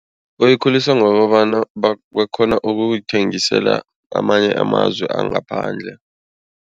Bayikhulilsa ngokobana bakghona ukuyithengisela amanye amazwe angaphandle.